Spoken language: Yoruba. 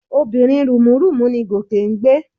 Obìnrin rùnmúrùnmú ni Gòkè ń gbé?